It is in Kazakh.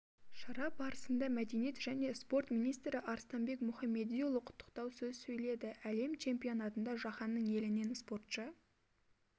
шара барысында мәдениет және спорт министрі арыстанбек мұхамедиұлы құттықтау сөз сөйледі әлем чемпионатында жаһанның елінен спортшы